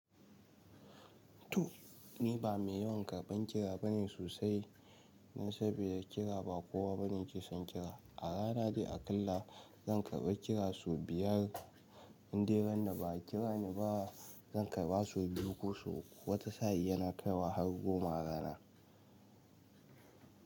To ni ba mai yawan karɓan kira bane sosai. Na saba da kira ba kowa bane ke son kira. A rana dai aƙalla zan karɓa kira sau biyar. Inderun da ba a kira ni ba zan karɓa sau biyu ko sau uku. Wata sa'in yana kaiwa har goma rana.